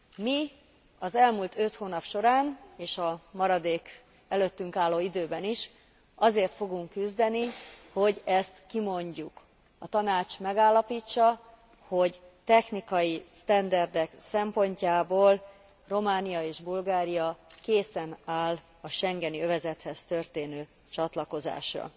Mi az elmúlt öt hónap során és a maradék előttünk álló időben is azért fogunk küzdeni, hogy ezt kimondjuk, a Tanács megállapítsa, hogy technikai standardok szempontjából Románia és Bulgária készen áll a schengeni övezethez történő csatlakozásra.